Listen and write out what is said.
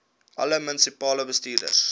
alle munisipale bestuurders